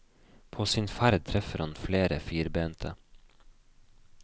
På sin ferd treffer han flere firbente.